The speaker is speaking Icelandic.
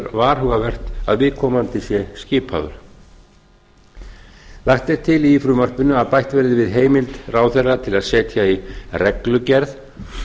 varhugavert að viðkomandi sé skipaður lagt er til í frumvarpinu að bætt verði við heimild ráðherra til að setja í reglugerð